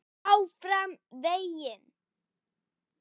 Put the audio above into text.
ÁFRAM VEGINN.